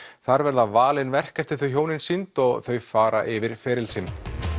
þar verða valin verk eftir þau hjónin sýnd og þau fara yfir feril sinn